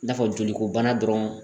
I n'a fɔ joliko bana dɔrɔn